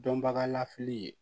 Dɔnbagalafili